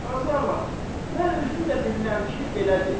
Qazı ağa, mən özüm də bilirəm ki, belədir.